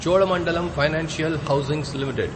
Cholamandalam financial holdings limited